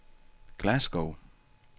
Glasgow